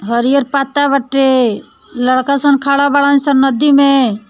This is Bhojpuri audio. हरिहर पत्ता बाटे लड़का सब खड़ा बड़ा सब नदी में।